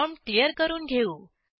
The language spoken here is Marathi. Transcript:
प्रॉम्प्ट क्लियर करून घेऊ